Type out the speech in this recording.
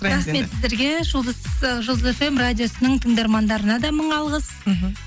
рахмет сіздерге ы жұлдыз фм радиосының тыңдармандарына да мың алғыс мхм